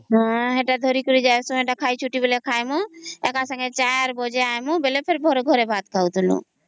ହଁ ଜେତା ଧରି କରି ଆସି ଥିବୁ ସେ ଟା ଖାଇବୁ ଏକ ସଂଗେ ଚାର ବାଜେ ଆଇବୁ ଟା ପରେ ଘରେ ଭାତ ଖାଇବୁ